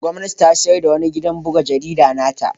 Gwamnati ta sayar da wani gidan buga jarida na ta.